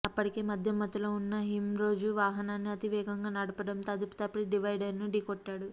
అప్పటికే మద్యం మత్తులో ఉన్న ఇంరోజ్ వాహనాన్ని అతి వేగంగా నడపడంతో అదుపుతప్పి డివైడర్ను ఢీకొట్టాడు